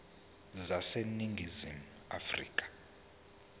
zezandla zaseningizimu afrika